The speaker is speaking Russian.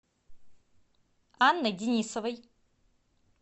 анной денисовой